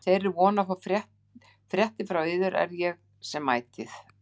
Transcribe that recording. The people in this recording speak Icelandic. Með þeirri von að fá fréttir frá yður er ég sem ætíð